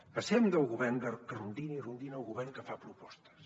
passem del govern que rondina i rondina al govern que fa propostes